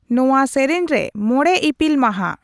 ᱱᱚᱶᱟ ᱥᱮᱨᱮᱧ ᱨᱮ ᱢᱚᱬᱮ ᱤᱯᱤᱞ ᱢᱟᱦᱟ